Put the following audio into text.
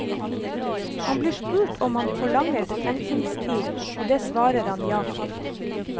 Han blir spurt om han forlanger betenkningstid, og det svarer han ja til.